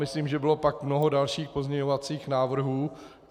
Myslím, že pak bylo mnoho dalších pozměňovacích návrhů.